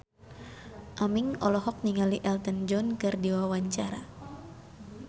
Aming olohok ningali Elton John keur diwawancara